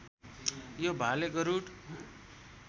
यो भाले गरूड